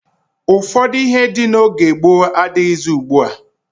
Ụfọdụ ihe dị n'oge gboo n'adịghịzị ugbua.